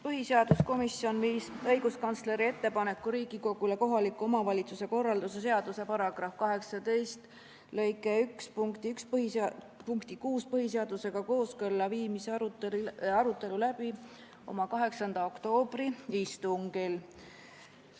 Põhiseaduskomisjon viis õiguskantsleri ettepaneku Riigikogule kohaliku omavalitsuse korralduse seaduse § 18 lõike 1 punkti 6 põhiseadusega kooskõlla viimiseks arutelu läbi oma 8. oktoobri istungil.